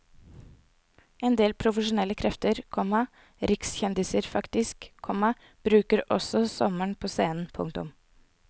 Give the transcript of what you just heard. Endel profesjonelle krefter, komma rikskjendiser faktisk, komma bruker også sommeren på scenen. punktum